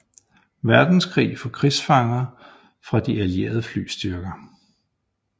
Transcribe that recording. Verdenskrig for krigsfanger fra de allierede flystyrker